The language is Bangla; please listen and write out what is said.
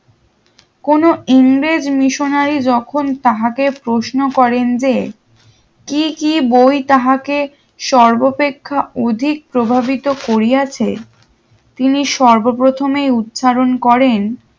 কোনো ইংরেজ missionory যখন তাহাকে প্রশ্ন করে যে কি কি বই তাহাকে সর্বপেক্ষা অধিক প্রবাহিত করিয়াছে তিনি সর্ব প্রথমে উচ্চারণ করেন